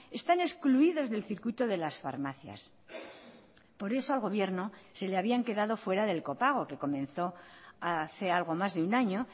están excluidos del circuito de las farmacias por eso al gobierno se le habían quedado fuera del copago que comenzó hace algo más de una año